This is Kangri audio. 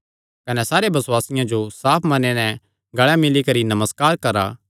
कने सारे बसुआसियां जो साफ मने नैं गल़े मिल्ली करी नमस्कार करा